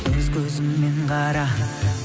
өз көзіңмен қара